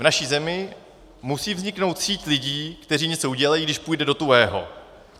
V naší zemi musí vzniknout síť lidí, kteří něco udělají, když půjde do tuhého.